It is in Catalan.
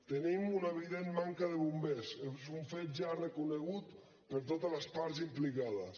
tenim una evident manca de bombers és un fet ja reconegut per totes les parts implicades